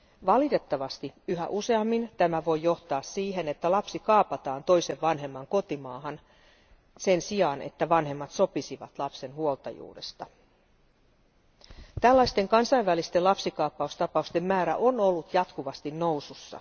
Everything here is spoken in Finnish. Valitettavasti yhä useammin tämä voi johtaa siihen, että lapsi kaapataan toisen vanhemman kotimaahan sen sijaan, että vanhemmat sopisivat lapsen huoltajuudesta. Tällaisten kansainvälisten lapsikaappaustapausten määrä on ollut jatkuvasti nousussa.